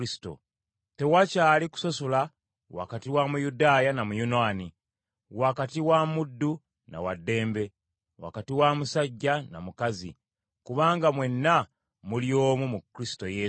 Tewakyali kusosola wakati wa Muyudaaya na Muyonaani, wakati wa muddu na wa ddembe, wakati wa musajja na mukazi, kubanga mwenna muli omu mu Kristo Yesu.